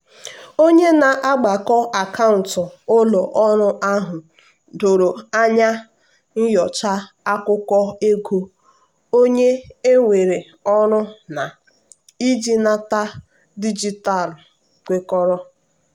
onye na-agbakọ akaụntụ ụlọ ọrụ ahụ doro anya nyochaa akụkọ ego onye ewere ọrụ na-iji nnata dijitalụ kwekọrọ.